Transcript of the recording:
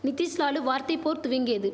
நிதிஷ்லாலு வார்த்தை போர் துவங்கியது